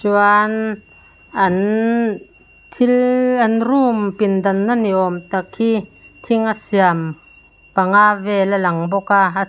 chuan an thil an room pin dan na niawm tak hi thing a siam panga vel a lang bawk a a--